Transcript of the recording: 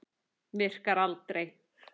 Virkar aldrei.